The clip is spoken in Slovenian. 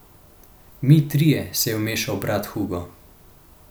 Mi trije, se je vmešal brat Hugo.